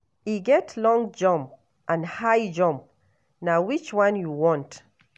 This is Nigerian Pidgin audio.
E get long jump and high jump, na which one you want?